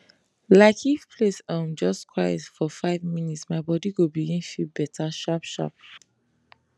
like if place um just quiet for five minutes my body go begin feel better sharpsharp